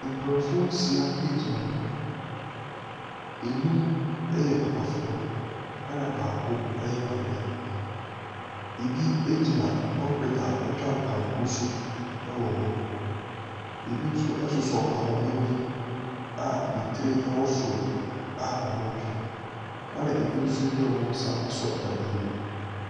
Nkurɔfoɔ nsia bi gyina hɔ, nnum yɛ papafoɔ na baako yɛ maame, bi gyina concrete a atwa kanko so wɔ hɔ, bi nso sosɔ ahoma bi a ne tiri wɔ soro a wɔretwe, bi nso de wɔn nsa asɔ dade mu.